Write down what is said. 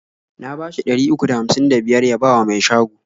Na bashi ɗari uku da hamsin da biyar ya bawa mai shago.